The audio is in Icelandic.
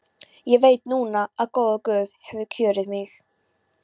Ég veit núna að góður guð hefur kjörið mig.